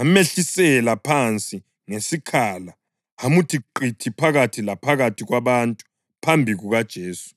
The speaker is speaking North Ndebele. amehlisela phansi ngesikhala amuthi qithi phakathi laphakathi kwabantu phambi kukaJesu.